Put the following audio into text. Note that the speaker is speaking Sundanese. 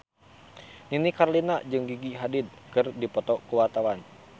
Nini Carlina jeung Gigi Hadid keur dipoto ku wartawan